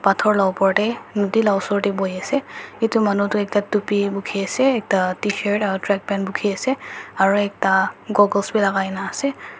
pathor la upor tey nodi la osor tey buhiase itu manu toh ekta tupi bukhiase ekta tshirt aro trackpant bukhiase aro ekta goggles bi lagai na ase.